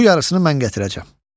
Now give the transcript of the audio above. Bu yarısını mən gətirəcəm.